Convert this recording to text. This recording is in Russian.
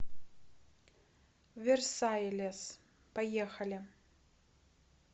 версайлес поехали